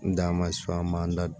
N da ma su an b'an da don